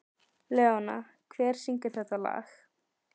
Leóna, hver syngur þetta lag?